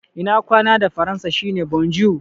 Ina kwana da Faransa shi ne "bonjour".